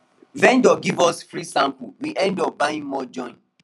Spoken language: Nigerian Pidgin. vendor give us free sample we end up buy more join